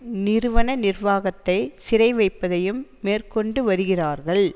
நிறுவன நிர்வாகத்தை சிறைவைப்பதையும் மேற்கொண்டு வருகிறார்கள்